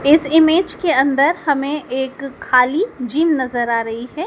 इस इमेज के अंदर हमें एक खाली जिम नजर आ रही है।